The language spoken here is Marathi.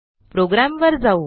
प्रोग्रॅमवर जाऊ